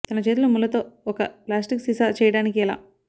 తన చేతులు ముళ్ళ తో ఒక ప్లాస్టిక్ సీసా చేయడానికి ఎలా